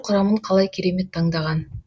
құрамын қалай керемет таңдаған